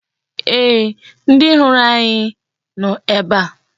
Ee, ndị hụrụ anyị nọ ebe a.